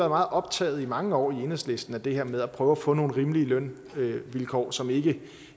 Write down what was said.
meget optaget i mange år i enhedslisten af det her med at prøve at få nogle rimelige lønvilkår som ikke